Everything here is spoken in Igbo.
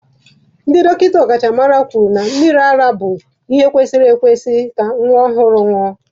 Ndị dọkịta ọkachamara kwuru na mmiri ara bụ ihe kwesịrị ekwesị ka nwa ọhụrụ ṅụọ.